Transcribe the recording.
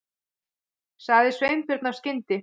sagði Sveinbjörn af skyndi